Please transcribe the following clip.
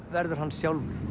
verður hann sjálfur